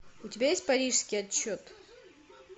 у тебя есть парижский отчет